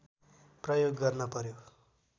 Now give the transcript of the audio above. प्रयोग गर्न पर्‍यो